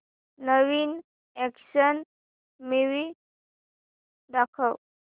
नवीन action movie दाखव